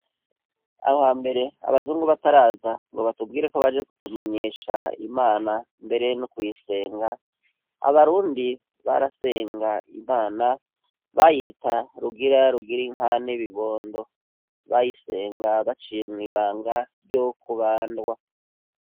aho hambere abazungu bataraza ngo batubwire ko baje kutumenyesha Imana mbere no kuyisenga, abarundi barasenga Imana bayita rugira rugira inka n'ibibondo, bayisenga baciye mw'ibanga ryo kubandwa.